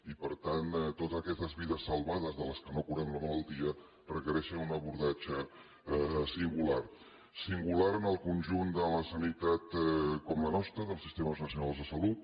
i per tant totes aquestes vides salvades de les quals no curem la malaltia requereixen un abordatge singular singular en el conjunt de la sanitat com la nostra dels sistemes nacionals de salut